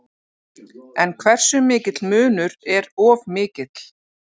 En hversu mikill munur er of mikill?